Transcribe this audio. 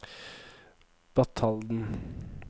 Batalden